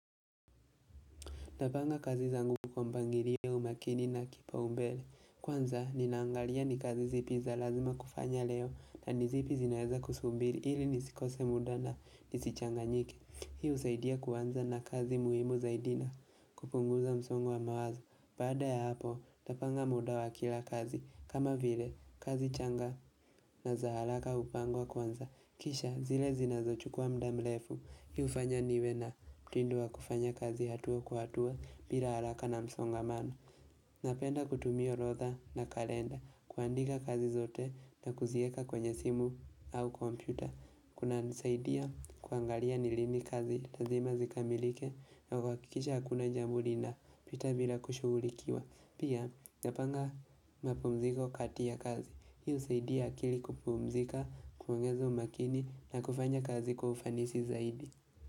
Ntapanga kazi zangu kwa mpangilioya umakini na kipa umbele Kwanza ninaangalia ni kazi zipi za lazima kufanya leo na nizipi zinaeza kusumbiri ili nisikose muda na nisichanganyike Hii usaidia kuanza na kazi muhimu zaidi na kupunguza msongo wa mawazo Baada ya hapo tapanga muda wa kila kazi kama vile kazi changa na za halaka upangwa kwanza Kisha zile zinazo chukua mudamlefu Hi ufanya niwe na mtindo wa kufanya kazi hatua kwa hatua bila haraka na msongamano Napenda kutumia horotha na kalenda kuandika kazi zote na kuzieka kwenye simu au computer Kuna nisaidia kuangalia ni lini kazi lazima zikamilike na kuakikisha hakuna jambo lina pita bila kushugulikiwa Pia napanga mapumziko kati ya kazi Hi usaidia akili kupumzika, kuongeza umakini na kufanya kazi kwa ufanisi zaidi.